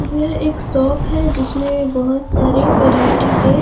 यह एक शॉप है जिसमें बहुत सारे वैरायटी के --